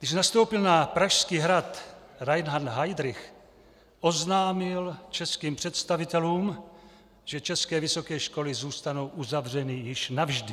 Když nastoupil na Pražský hrad Reinhard Heydrich, oznámil českým představitelům, že české vysoké školy zůstanou uzavřeny již navždy.